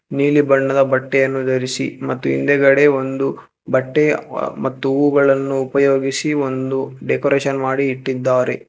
ನೀಲಿ ಬಣ್ಣದ ಬಟ್ಟೆಯನ್ನು ಧರಿಸಿ ಮತ್ತು ಹಿಂದೆಗಡೆ ಒಂದು ಬಟ್ಟೆಯ ಮತ್ತು ಹೂವುಗಳನ್ನು ಉಪಯೋಗಿಸಿ ಒಂದು ಡೆಕೋರೇಷನ್ ಮಾಡಿ ಇಟ್ಟಿದ್ದಾರೆ.